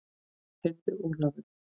Heyrðu Ólafur.